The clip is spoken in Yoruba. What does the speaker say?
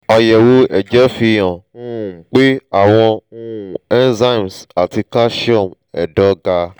àyẹ̀wò ẹ̀jẹ̀ fihàn um pé àwọn um cs] enzymes ati calcium ẹ̀dọ̀ ga